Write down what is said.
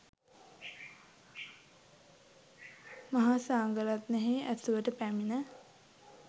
මහා සංඝ රත්නයෙහි ඇසුරට පැමිණ